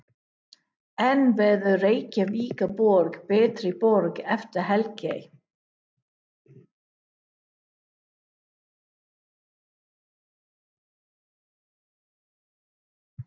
En verður Reykjavíkurborg betri borg eftir helgi?